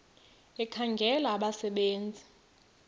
ekhangela abasebe nzi